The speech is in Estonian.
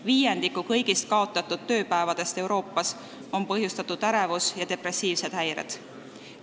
Viiendiku kõigist kaotatud tööpäevadest Euroopas on põhjustanud ärevus- ja depressiivsed häired.